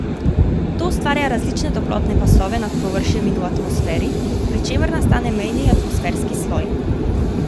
To ustvarja različne toplotne pasove nad površjem in v atmosferi, pri čemer nastane mejni atmosferski sloj.